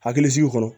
Hakili sigi kɔnɔ